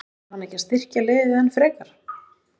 En þarf hann að styrkja liðið enn frekar?